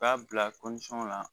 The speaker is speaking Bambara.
U k'a bila la